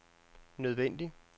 nødvendig